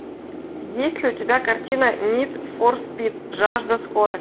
есть ли у тебя картина нид фор спид жажда скорости